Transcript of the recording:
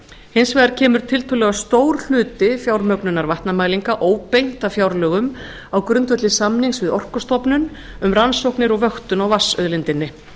hins vegar kemur tiltölulega stór hluti fjármögnunar vatnamælinga óbeint af fjárlögum á grundvelli samnings við orkustofnun um rannsóknir og vöktun á vatnsauðlindinni